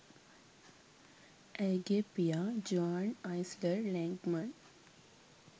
ඇයගේ පියා Juan Eisler Lengman